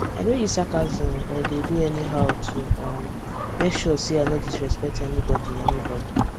i no use sarcasm or dey do anyhow to um make sure say i no disrespect anybody anybody